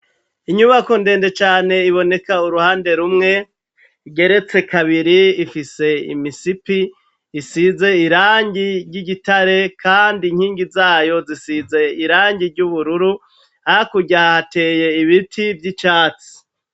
inyubako ndende cane iboneka uruhande rumwe igeretse kabiri ifise imisipi isize irangi ry'igitare kandi inkingi zayo zisize irangi ry'ubururu hakurya ateye ibiti vy'icatsi